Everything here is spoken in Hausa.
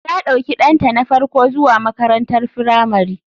Ta ɗauki ɗanta na farko zuwa makarantar firamari.